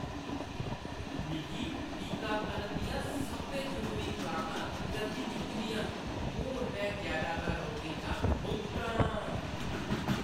मिगी टीकाकरण दियां सब्भै जरूरी खुराकां लग्गी चुकी दियां न। हून में जैदातर रोगें शा मुक्त आं।